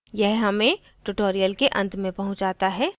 यह हमें tutorial के अंत में पहुँचाता है